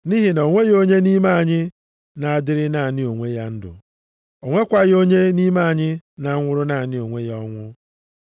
Nʼihi na o nweghị onye nʼime anyị na-adịrị naanị onwe ya ndụ, o nwekwaghị onye nʼime anyị na-anwụrụ naanị onwe ya ọnwụ.